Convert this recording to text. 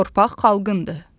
Torpaq xalqındır.